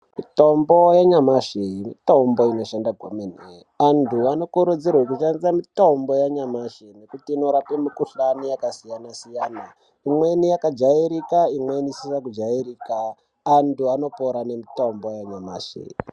Mitombo yenyamashi mitombo inoshanda kwemene. Antu vanokurudzirwe kushandise mitombo yanyamashi nekuti inorape mikuhlani yakasiyana-siyana. Imweni yakajairika imweni isina kujairika. Antu anopora nemitombo yanyamashi.